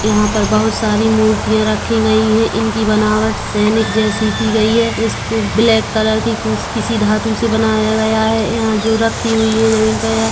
यहाँ पर बहुत सारी मूर्तिया रखी गई है इनकी बनावट सैनिक जैसी कि गई है इसको ब्लैक कलर के किसी धातु से बनाया गया है यहाँ जो रखी हुई है जमीन पर--